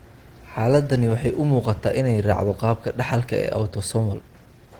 Xaaladdani waxay u muuqataa inay raacdo qaabka dhaxalka ee autosomal.